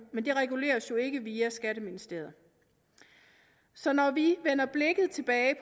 men det reguleres jo ikke via skatteministeriet så når vi vender blikket tilbage